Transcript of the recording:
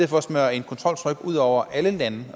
for at smøre et kontroltryk ud over alle lande